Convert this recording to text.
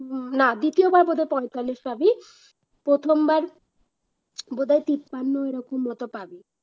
না দ্বিতীয়বার বোধ হয় পঁয়তাল্লিশ পাবি প্রথমবার বোধহয় তিপ্পান্ন এরকম মত পাবি